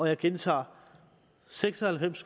jeg gentager seks og halvfems